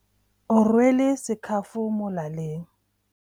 O rwetse sekhafo molaleng.